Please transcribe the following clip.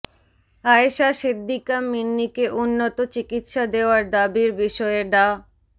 আয়শা সিদ্দিকা মিন্নিকে উন্নত চিকিৎসা দেওয়ার দাবির বিষয়ে ডা